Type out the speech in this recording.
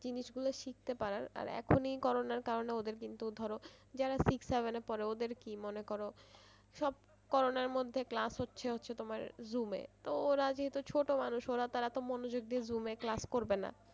জিনিস গুলো শিখতে পারার আর এখনি করোনার কারনে ওদের কিন্তু ধরো যারা six seven এ পড়ে ওদের কি মনে করো সব করোনার মধ্যে class হচ্ছে হচ্ছে তোমার zoom এ তো ওরা যেহেতু ছোটো মানুষ তো তারা তো মনোযোগ দিয়ে zoom এ class করবে না।